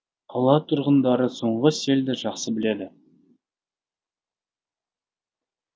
қала тұрғындары соңғы селді жақсы біледі